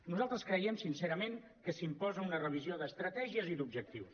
nosaltres creiem sincerament que s’imposa una revisió d’estratègies i d’objectius